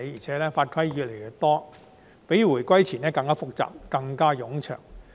再加上法規越來越多，相關程序較回歸前亦更複雜、更冗長。